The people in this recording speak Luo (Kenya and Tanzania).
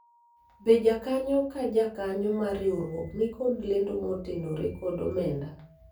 be jakanyo ka jakanyo mar riwruok nikod lendo motenore kod omenda ?